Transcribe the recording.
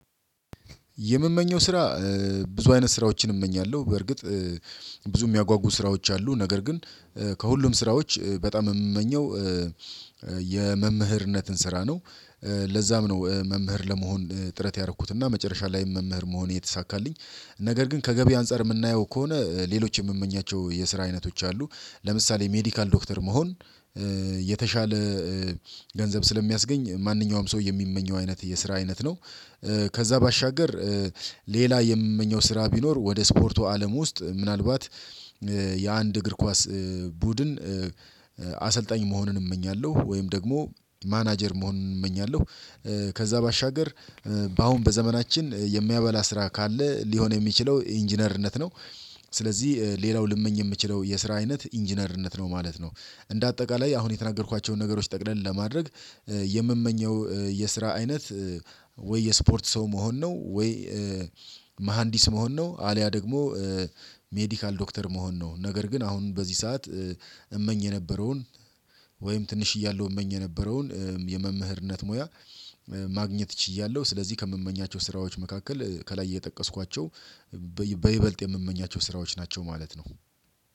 የምመኘው ስራ ብዙ አይነት ስራዎችን እመኛለሁ። በእርግጥ ብዙ የሚያጓጉ ስራዎች አሉ። ነገር ግን ከሁሉም ስራዎች በጣም የምመኘው የመምህርነትን ስራ ነው። ለዛም ነው መምህር ለመሆን ጥረት ያረኩትና መጨረሻ ላይም መምህር መሆን የተሳካልኝ። ነገር ግን ከገቢ አንፃር የምናየው ከሆነ ሌሎች የምመኛቸው የስራ አይነቶች አሉ። ለምሳሌ ሜዲካል ዶክተር መሆን የተሻለ ገንዘብ ስለሚያስገኝ ማንኛውም ሰው የሚመኘው አይነት የስራ አይነት ነው ከዛ ባሻገር ሌላ የምመኘው ስራ ቢኖር ወደ ስፖርቱ አለም ውስጥ ምናልባት የአንድ እግር ኳስ ቡድን አሰልጣኝ መሆኑን እመኛለሁ። ወይም ደግሞ ማናጀር መሆን እመኛለሁ። ከዛ ባሻገር በአሁን በዘመናችን የሚያበላ ስራ ካለ ሊሆን የሚችለው ኢንጂነርነት ነው። ስለዚህ ሌላው ልመኝ የምችለው የስራ አይነት ኢንጂነርነት ነው ማለት ነው። እንደ አጠቃላይ አሁን የተናገርኳቸውን ነገሮች ጠቅለል ለማድረግ የምመኘው የስራ አይነት ወይ የስፖርት ሰው መሆን ነው ወይ መሃንዲስ መሆን ነው አልያ ደግሞ ሜዲካል ዶክተር መሆን ነው። ነገር ግን አሁን በዚህ ሰዓት እመኝ የነበረውን ወይም ትንሽ እያለሁ እመኝ የነበረውን የመምህርነት ሙያ ማግኘት ችያለሁ። ስለዚህ ከምመኛቸው ስራዎች መካከል ከላይ የጠቀስኳቸው በይበልጥ የምመኛቸው ስራዎች ናቸው ማለት ነው።